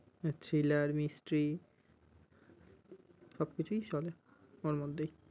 আহ Thriller, mistry সব কিছুই চলে ওর মধ্যেই।